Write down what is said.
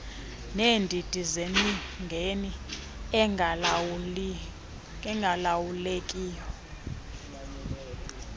neendidi zemingeni engalawulekiyo